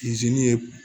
ye